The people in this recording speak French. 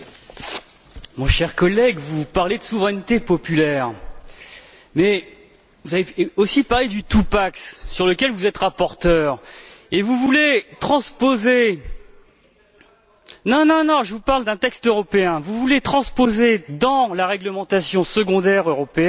Monsieur le Président, mon cher collègue, vous parlez de souveraineté populaire, mais vous avez parlé aussi du sur lequel vous êtes rapporteur. Et vous voulez transposer non, non, je vous parle d'un texte européen vous voulez transposer dans la réglementation secondaire européenne